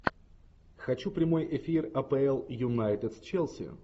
хочу прямой эфир апл юнайтед с челси